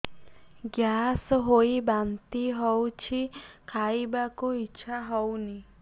gas ହୋଇ ବାନ୍ତି ହଉଛି ଖାଇବାକୁ ଇଚ୍ଛା ହଉନି